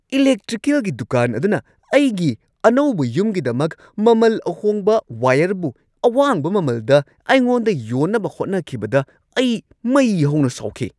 ꯏꯂꯦꯛꯇ꯭ꯔꯤꯀꯦꯜꯒꯤ ꯗꯨꯀꯥꯟ ꯑꯗꯨꯅ ꯑꯩꯒꯤ ꯑꯅꯧꯕ ꯌꯨꯝꯒꯤꯗꯃꯛ ꯃꯃꯜ ꯑꯍꯣꯡꯕ ꯋꯥꯌꯔꯕꯨ ꯑꯋꯥꯡꯕ ꯃꯃꯜꯗ ꯑꯩꯉꯣꯟꯗ ꯌꯣꯟꯅꯕ ꯍꯣꯠꯅꯈꯤꯕꯗ ꯑꯩ ꯃꯩ ꯍꯧꯅ ꯁꯥꯎꯈꯤ꯫